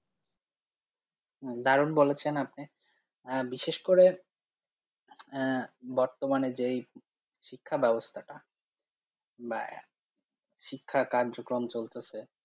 হম দারুন বলেছেন আপনি আহ বিশেষ করে আহ বর্তমানে যেই শিক্ষা ব্যবস্থাটা বা শিক্ষা কার্যক্রম চলতাছে।